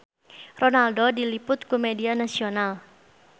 Ronaldo diliput ku media nasional